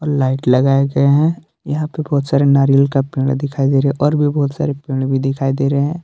Light लगाए गए हैं यहां पे बहुत सारे नारियल का पेड़ दिखाई दे रहे और भी बहुत सारे पेड़ भी दिखाई दे रहे हैं।